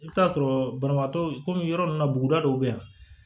I bɛ t'a sɔrɔ banabaatɔ kɔmi yɔrɔ min na buguda dɔw bɛ yan